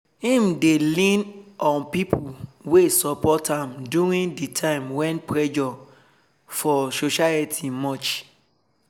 im dey lean on pipo wey support am during de time wen pressure for society much